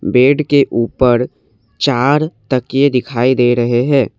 Bed के ऊपर चार तकिये दिखाई दे रहे हैं।